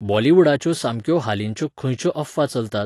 बॉलिवूडाच्यो सामक्यो हालींच्यो खंयच्यो अफवा चलतात?